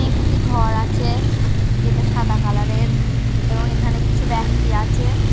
একটি ঘর আছে যেটা সাদা কালার -এর এবং এখানে কিছু ব্যাক্তি আছে।